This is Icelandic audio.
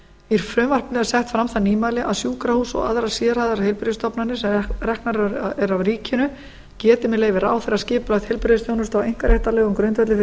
í frumvarpinu er sett fram það nýmæli að sjúkrahús og aðrar sérhæfðar heilbrigðisstofnanir sem reknar eru af ríkinu geti með leyfi ráðherra skipulagt heilbrigðisþjónustu á einkaréttarlegum grundvelli fyrir